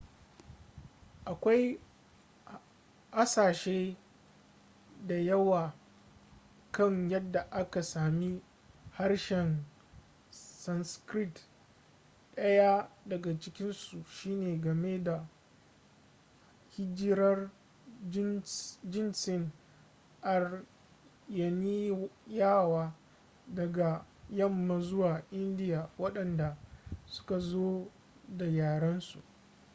akwai hasashe da yawa kan yadda aka sami harshen sanskrit ɗaya daga cikinsu shine game da hijirar jinsin aryaniyawa daga yamma zuwa india waɗanda suka zo da yarensu